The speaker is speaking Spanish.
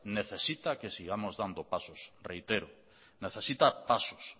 necesita que sigamos dando pasos reitero necesita pasos